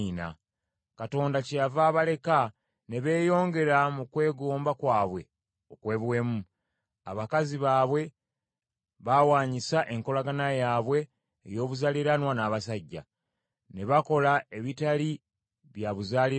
Katonda kyeyava abaleka ne beeyongera mu kwegomba kwabwe okw’obuwemu. Abakazi baabwe baawanyisa enkolagana yaabwe ey’obuzaaliranwa n’abasajja, ne bakola ebitali bya buzaaliranwa.